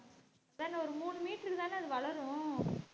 அதான் இந்த ஒரு மூணு metre க்குதானே அது வளரும்